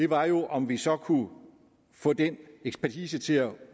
var jo om vi så kunne få den ekspertise til at